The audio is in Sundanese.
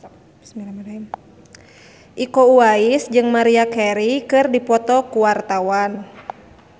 Iko Uwais jeung Maria Carey keur dipoto ku wartawan